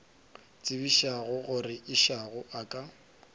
tsebišago gore išago a ka